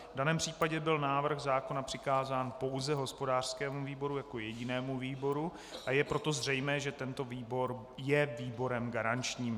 V daném případě byl návrh zákona přikázán pouze hospodářskému výboru jako jedinému výboru, a je proto zřejmé, že tento výbor je výborem garančním.